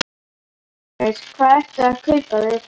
Jóhannes: Hvað ertu að kaupa þér?